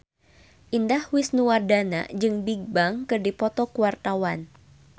Indah Wisnuwardana jeung Bigbang keur dipoto ku wartawan